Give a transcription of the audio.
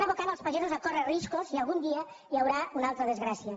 aboquen els pagesos a córrer riscos i algun dia hi haurà una altra desgràcia